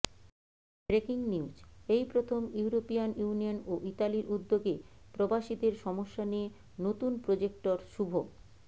breaking news এই প্রথম European union ও ইতালির উদ্যোগে প্রবাসীদের সমস্যা নিয়ে নতুন প্রোজেক্টের শুভ